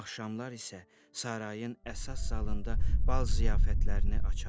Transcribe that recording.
axşamlar isə sarayın əsas zalında bal ziyafətlərini açardım.